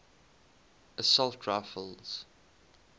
assault rifles